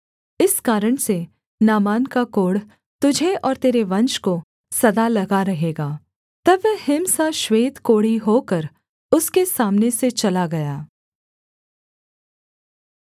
इस कारण से नामान का कोढ़ तुझे और तेरे वंश को सदा लगा रहेगा तब वह हिम सा श्वेत कोढ़ी होकर उसके सामने से चला गया